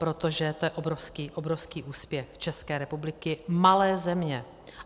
Protože to je obrovský úspěch České republiky, malé země.